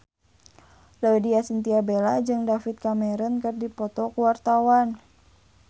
Laudya Chintya Bella jeung David Cameron keur dipoto ku wartawan